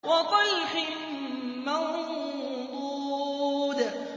وَطَلْحٍ مَّنضُودٍ